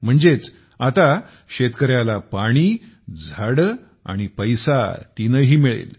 म्हणजेच आता शेतकऱ्याला पाणी झाडे आणि पैसा तीनही मिळेल